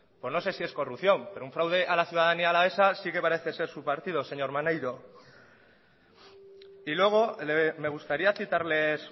pues no sé si es corrupción pero un fraude a la ciudadanía alavesa sí que parece ser su partido señor maneiro y luego me gustaría citarles